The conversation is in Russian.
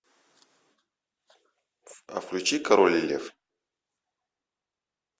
включи король лев